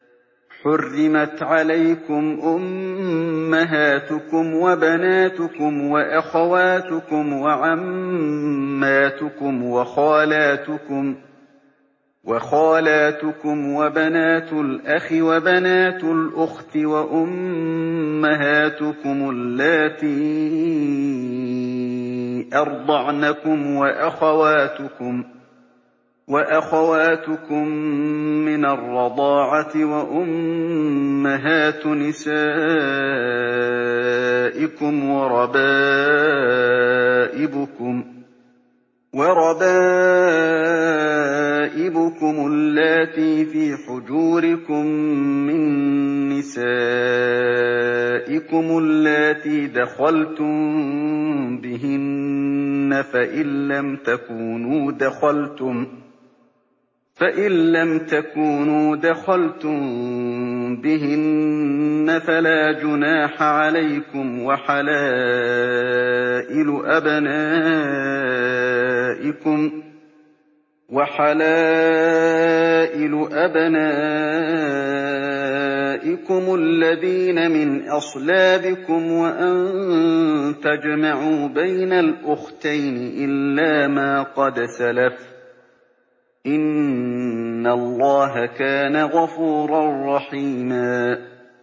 حُرِّمَتْ عَلَيْكُمْ أُمَّهَاتُكُمْ وَبَنَاتُكُمْ وَأَخَوَاتُكُمْ وَعَمَّاتُكُمْ وَخَالَاتُكُمْ وَبَنَاتُ الْأَخِ وَبَنَاتُ الْأُخْتِ وَأُمَّهَاتُكُمُ اللَّاتِي أَرْضَعْنَكُمْ وَأَخَوَاتُكُم مِّنَ الرَّضَاعَةِ وَأُمَّهَاتُ نِسَائِكُمْ وَرَبَائِبُكُمُ اللَّاتِي فِي حُجُورِكُم مِّن نِّسَائِكُمُ اللَّاتِي دَخَلْتُم بِهِنَّ فَإِن لَّمْ تَكُونُوا دَخَلْتُم بِهِنَّ فَلَا جُنَاحَ عَلَيْكُمْ وَحَلَائِلُ أَبْنَائِكُمُ الَّذِينَ مِنْ أَصْلَابِكُمْ وَأَن تَجْمَعُوا بَيْنَ الْأُخْتَيْنِ إِلَّا مَا قَدْ سَلَفَ ۗ إِنَّ اللَّهَ كَانَ غَفُورًا رَّحِيمًا